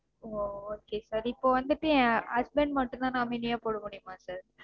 ஓ okay sir. இப்போ வந்துட்டு என் husbnd மட்டும்தா nominee யா போட முடியுமா sir?